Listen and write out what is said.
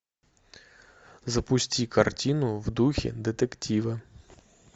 запусти картину в духе детектива